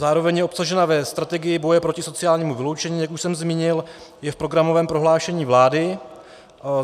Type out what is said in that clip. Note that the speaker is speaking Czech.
Zároveň je obsažena ve strategii boje proti sociálnímu vyloučení, jak už jsem zmínil, je v programovém prohlášení vlády.